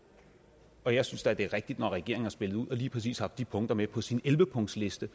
og jeg synes da det er rigtigt når regeringen har spillet ud og lige præcis haft de punkter med på sin elleve punktsliste